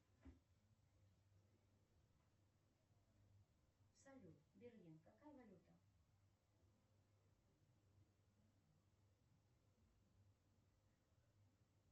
салют берлин какая валюта